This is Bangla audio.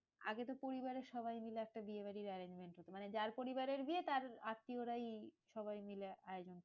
আগে তো পরিবারের সবাইমিলে একটা বিয়েবাড়ির arrangement হতো। মানে যার পরিবারের বিয়ে তার আত্মীয়রাই সবাই মিলে আয়োজন